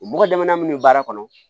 Mɔgɔ daman munnu bɛ baara kɔnɔ